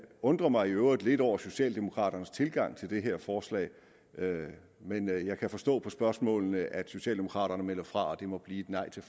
undrer mig i øvrigt lidt over socialdemokraternes tilgang til det her forslag men jeg kan forstå på spørgsmålene at socialdemokraterne melder fra og det må blive et nej til